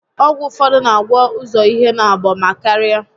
Ọgwụ ụfọdụ n'agwọ ụzọ ihe naabọ ma karịa